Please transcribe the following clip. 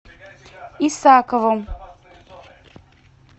исакову